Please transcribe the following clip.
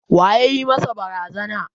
Wa ya yi masa barazana?